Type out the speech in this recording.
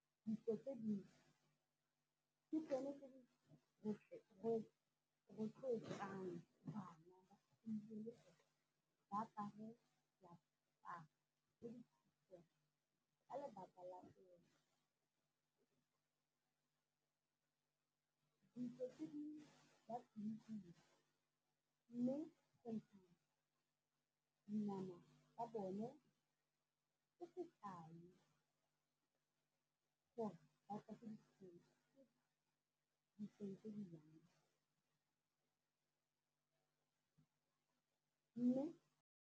Ditso tse dingwe ke tsone tse di rotloetsang bana ba gompieno gore ba apare diaparo tse di ka lebaka la gore ditso tse dingwe mme dinama tsa bone ke sekai gore tse di yang mme.